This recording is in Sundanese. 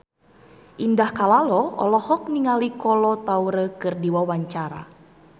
Indah Kalalo olohok ningali Kolo Taure keur diwawancara